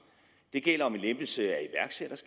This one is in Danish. det gælder med lempelse